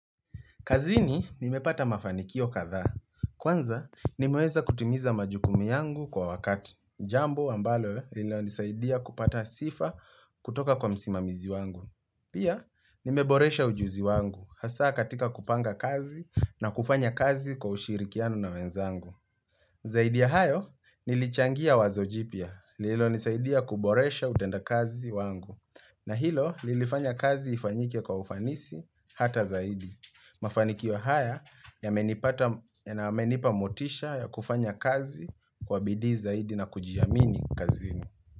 Kazini, nimepata mafanikio kadhaa. Kwanza, nimeweza kutimiza majukumu yangu kwa wakati. Jambo, ambalo, lina nisaidia kupata sifa kutoka kwa msimamizi wangu. Pia, nimeboresha ujuzi wangu. Hasa katika kupanga kazi na kufanya kazi kwa ushirikiano na wenzangu. Zaidi ya hayo, nilichangia wazojipia. Lilo nisaidia kuboresha utenda kazi wangu. Na hilo, lilifanya kazi ifanyike kwa ufanisi hata zaidi. Mafanikio haya yamenipa motisha ya kufanya kazi kwa bidii zaidi na kujiamini kazi.